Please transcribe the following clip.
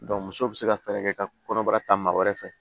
muso bɛ se ka fɛɛrɛ kɛ ka kɔnɔbara ta maa wɛrɛ fɛ